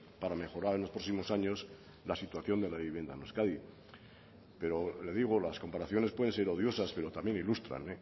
para mejorar en los próximos años la situación de la vivienda en euskadi pero le digo las comparaciones pueden ser odiosas pero también ilustran